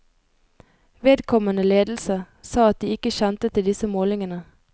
Vedkommende ledelse sa at de ikke kjente til disse målingene.